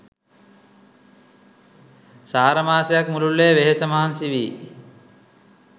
සාර මාසයක් මුළුල්ලේ වෙහෙස මහන්සි වී